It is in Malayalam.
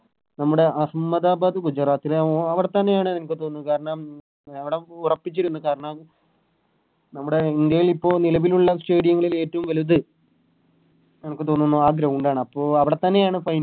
നമ്മടെ അഹമ്മദാബാദ് ഗുജറാത്തിലാണോ അവിടെത്തന്നെയാണ് എനിക്ക് തോന്നു കാരണം അവിടം ഉറപ്പിച്ചിരുന്നു കാരണം നമ്മുടെ ഇന്ത്യയിൽ ഇപ്പൊ നിലവിലുള്ള Stadium ങ്ങളിൽ ഏറ്റവും വലുത് എനക്ക് തോന്നുന്നു ആ Ground ആണ് അപ്പൊ അവിടെത്തന്നെയാണ്